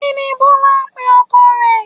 Kí ni Bọ́lá ń pe ọkọ rẹ̀